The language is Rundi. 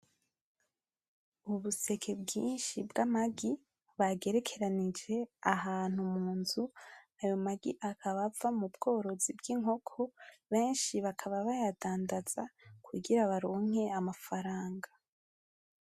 Ubuseke bwinshi bw'amagi bagerekeranije ahantu munzu. Ayo magi akaba ava mubworozi bw'Inkoko, benshi bakaba bayadandaza kugira baronke amafaranga.